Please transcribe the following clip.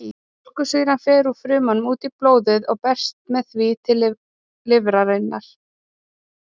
Mjólkursýran fer úr frumunum út í blóðið og berst með því til lifrarinnar.